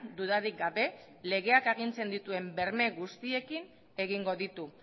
dudarik gabe legeak agintzen dituen berme guztiekin egingo ditu